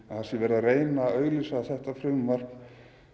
að það sé verið að auglýsa þetta frumvarp